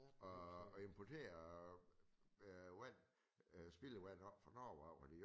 Og og importere øh vand øh spildevand op fra Norge af fordi